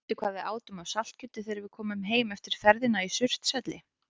Mundu hvað við átum af saltkjöti þegar við komum heim eftir ferðina í Surtshelli.